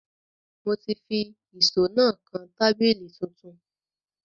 Mo ti fi ìṣó náà kan tábìlì tuntun